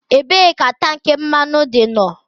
Ebee ka tank mmanụ dị no?